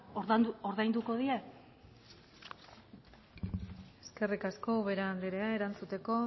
ordainduko die eskerrik asko ubera anderea erantzuteko